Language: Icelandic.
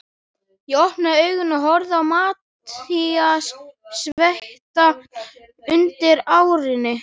Ég opnaði augun og horfði á Matthías, sveittan undir árinni.